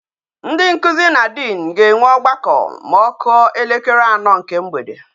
Ndị nkuzi na diin ga-ewe ọgbakọ ma ọ kụọ elekere ano nke mgbede